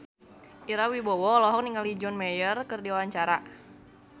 Ira Wibowo olohok ningali John Mayer keur diwawancara